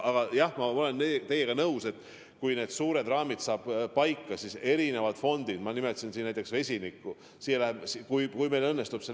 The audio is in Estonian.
Aga jah, ma olen teiega nõus: kui suured raamid saab paika, siis see on märkimisväärne raha, mis tuleb eri fondidest, kui meil läbirääkimised õnnestuvad.